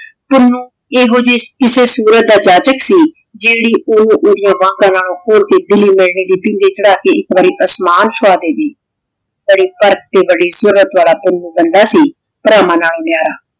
ਪੁੰਨੁ ਏਹੋ ਜੈ ਕਿਸੇ ਸੂਰਤ ਦਾ ਜਾਚਕ ਸੀ ਜੇਰੀ ਓਹਨੁ ਓਹ੍ਦਿਯਾਂ ਵੰਗਾਂ ਨਾਲੋ ਖੋਲ ਕੇ ਦਿੱਲੀ ਮੈਨੇ ਦੀ ਪੀਣਗੇ ਚਢ਼ਾ ਕੇ ਏਇਕ ਵਾਰੀ ਅਸਮਾਨ ਸਜਾ ਦਾਵੇ ਬਾਰੀ ਤਰਕ ਤੇ ਬਾਰੀ ਸੂਰਤ ਵਾਲਾ ਪੁੰਨੁ ਬੰਦਾ ਸੀ ਪਰਵਾਨ ਨਾਲ